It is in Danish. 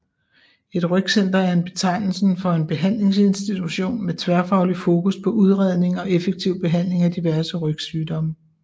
Et rygcenter er betegnelsen for en behandlinginstitution med tværfagligt fokus på udredning og effektiv behandling af diverse rygsygdomme